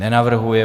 Nenavrhuje.